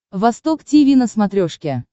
восток тиви на смотрешке